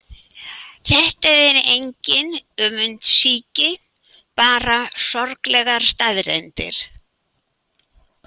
Þetta er engin öfundsýki, bara sorglegar staðreyndir.